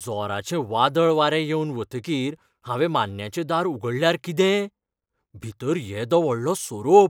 जोराचें वादळ वारें येवन वतकीर हांवें मान्न्याचें दार उगडल्यार कितें? भितर येदो व्हडलो सोरोप!